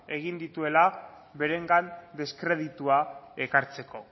egin dituela berengan deskreditua ekartzeko